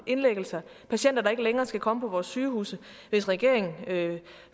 indlæggelser patienter der ikke længere skal komme på vores sygehuse hvis regeringen